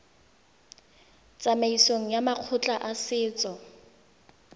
tsamaisong ya makgotla a setso